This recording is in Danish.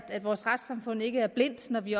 vores retssamfund ikke er blindt når vi